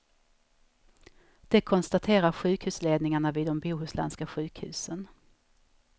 Det konstaterar sjukhusledningarna vid de bohuslänska sjukhusen.